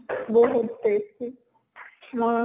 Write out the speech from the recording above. বহুত tasty মই